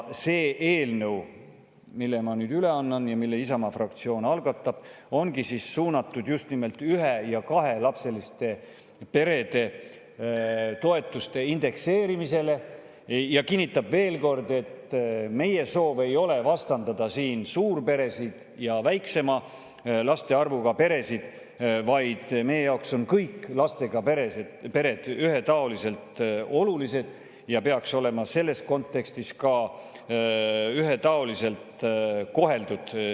See eelnõu, mille ma nüüd üle annan ja mille Isamaa fraktsioon algatab, ongi suunatud just nimelt ühe- ja kahelapseliste perede toetuste indekseerimisele ja kinnitab veel kord, et meie soov ei ole vastandada suurperesid ja väiksema laste arvuga peresid, vaid meie jaoks on kõik lastega pered ühetaoliselt olulised ja peaks olema selles kontekstis ka seaduse tasemel ühetaoliselt koheldud.